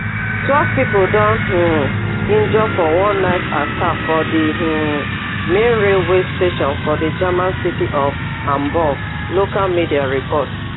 twelve pipo don um injure for one knife attack for di um main railway station for di german city of hamburg local media report